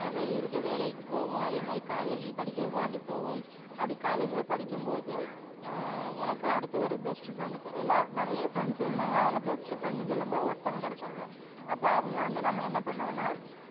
ஆஹ் வெளி ஊருக்கு வேலைக்கு போவோம் college படிக்கரதுக்காண்டி போவோம் அப்டி college ல படிக்கும் போது ஆஹ் எனக்கு அடுத்த ஒரு best friend டு எல்லா நிறைய friend இருந்தாங்க best friend னு சொல்லும்போது ஒருத்தவங்க கிடைச்சாங்க அப்ப அவங்க வந்து நாம என்னா பன்னுவோம்னா